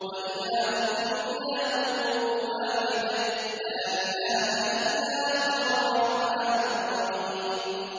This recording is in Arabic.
وَإِلَٰهُكُمْ إِلَٰهٌ وَاحِدٌ ۖ لَّا إِلَٰهَ إِلَّا هُوَ الرَّحْمَٰنُ الرَّحِيمُ